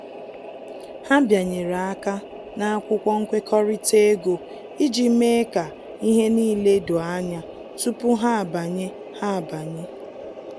Ha bịanyere aka ná akwụkwọ nkwekọrịta ego iji mee ka ihe n'ile doo anya tupu ha abanye ha abanye